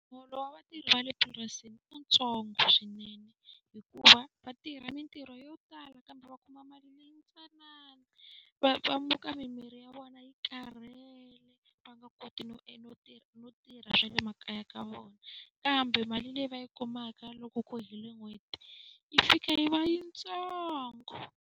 Muholo wa vatirhi va le purasini i wu ntsongo swinene hikuva va tirha mintirho yo tala kambe va kuma mali leyi ntsanana. Va va muka mimiri ya vona yi karhele va nga koti no no tirha no tirha swa le makaya ka vona, kambe mali leyi va yi kumaka loko ko hela n'hweti yi fika yi va yi ntsongo.